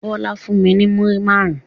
Bọlá fún mi ní múrí máarun